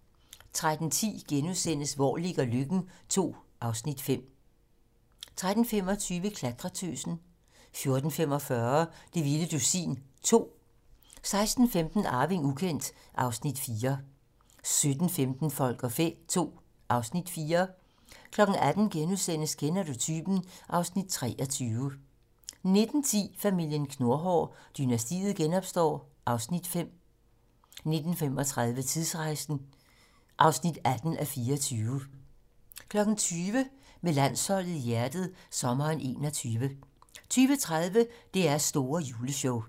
13:10: Hvor ligger Løkken? II (Afs. 5)* 13:25: Klatretøsen 14:45: Det vilde dusin 2 16:15: Arving ukendt (Afs. 4) 17:15: Folk og fæ II (Afs. 4) 18:00: Kender du typen? (Afs. 23)* 19:10: Familien Knurhår: Dynastiet genopstår (Afs. 5) 19:35: Tidsrejsen (18:24) 20:00: Med landsholdet i hjertet - sommeren 21 20:30: DR's store juleshow